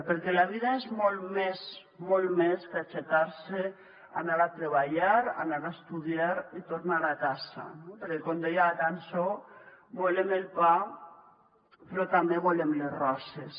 perquè la vida és molt més molt més que aixecar se anar a treballar anar a estudiar i tornar a casa no perquè com deia la cançó volem el pa però també volem les roses